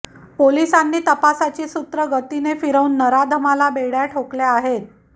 पोलिसांनी तपासाची सूत्र गतीने फिरवून नराधमाला बेड्या ठोकल्या आहेत